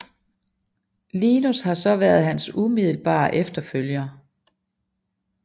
Linus har så været hans umiddelbare efterfølger